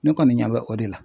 Ne kɔni ɲɛ bɛ o de la .